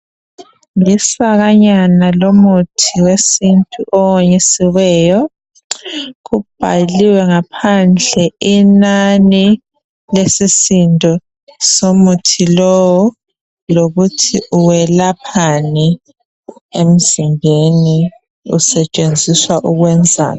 lisakanyna lomuthi wesintu owonyisiweyo kubhaliwe ngaphandle inani lesisindo somuthi lowo lokuthi uwelaphani emzimbeni usetshenziswa ukwenzani